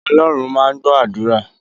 Ọlọ́run máa ń gbó àdúrà